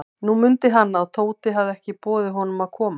Nú mundi hann, að Tóti hafði ekki boðið honum að koma.